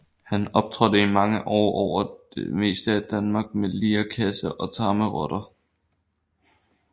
Han optrådte i mange år over det meste af Danmark med lirekasse og tamme rotter